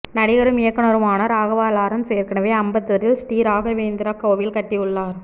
நடிகரும் இயக்குனருமான ராகவா லாரன்ஸ் ஏற்கனவே அம்பத்தூரில் ஸ்ரீ ராகவேந்திரர் கோவில் கட்டி உள்ளார்